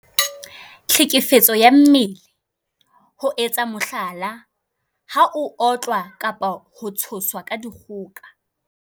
Tlhekefetso ka mmele- ho etsa mohlala, ha o otlwa kapa ho tshoswa ka dikgoka.